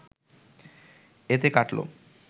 এতে কাটল